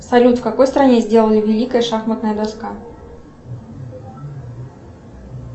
салют в какой стране сделали великая шахматная доска